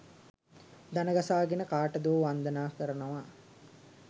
දණගසාගෙන කාටදෝ වන්දනා කරනවා